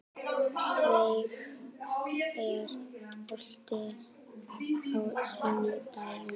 Veig, er bolti á sunnudaginn?